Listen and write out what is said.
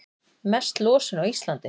Mest losun á Íslandi